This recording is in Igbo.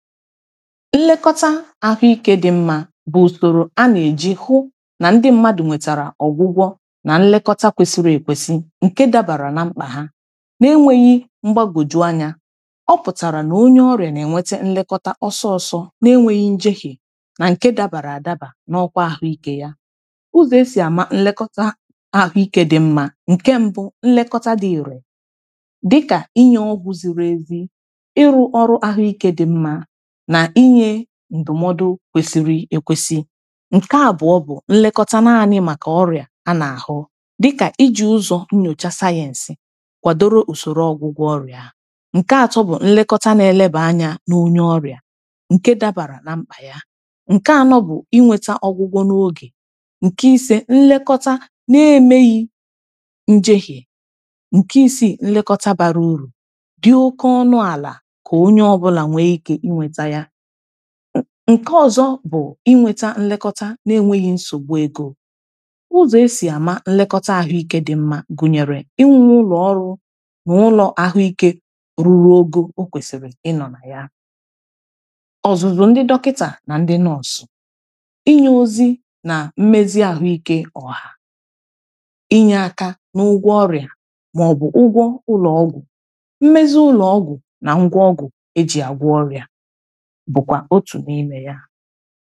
nlekọta ahụike dị mma bụ usoro a na-eji ahụ na ndị mmadụ nwetara ọgwụgwọ na nlekọta kwesiri ekwesi nke dabara na mkpa ha na’enweghi mgbagwoju anya ọ pụtara na onye ọrịa na-enweta nlekọta ọsọ ọsọ n’enweghi njehie na nke dabara adaba n’ọkwa ahụike ya ụzọ esi ama nlekọta ahụike dị mma nke mbụ nlekọta dị iru dịka inye ọgwụ ziri ezi ịrụ ọrụ ahụike dị mma na inye ndụmọdụ kwesiri ekwesi nke abụọ bụ nlekọta naanị maka ọrịa a na-ahụ dịka iji ụzọ nnyocha sayensi kwadoro usoro ọgwụgwọ ọrịa nke atọ bụ nlekọta na-eleba anya n’onye ọrịa nke dabara na mkpa ya nke anọ bụ inweta ọgwụgwọ n’oge nke ise nlekọta na-emeghi njehie nke isi nlekọta bara uru dị oke ọnụ ala ka onye ọbụla nwee ike nke ọzọ bụ inweta nlekọta na-enweghị nsogbu ego ụzọ esi ama nlekọta ahụike dị mma gụnyere inwe ụlọọrụ na ụlọ ahụike ruru oge o kwesiri ịnọ na ya ọzụzụ ndị dọkịta na ndị nọsụ inye ozi na mmezi ahụike ọha inye aka n’ụgwọ ọrịa ma ọ bụ ụgwọ ụlọọgwụ mmezi ụlọọgwụ na ngwa ọgwụ bụkwa otu n’ime ya